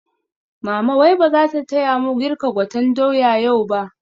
Mama wai bazata taya mu girka gwaten doya yau ba?